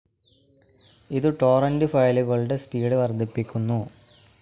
ഇതു ടോറന്റ്‌ ഫയലുകളുടെ സ്പീഡ്‌ വർദ്ധിപ്പിക്കുന്നു.